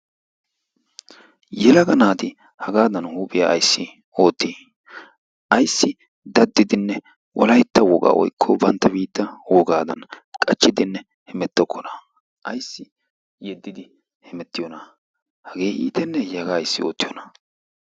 Yelaga naati hagaadan huuphiya ayssi oottii ayssi daddidinne wolaytta wogaa woykko bantta biitta wogaadan qachchidinne hemettokkonaa ayssi yeddidi hemettiyoona hagee iitenneeyye hagaa ayssi oottiyoonaa.